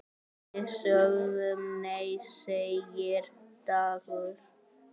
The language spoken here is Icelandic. Við sögðum nei, segir Dagur.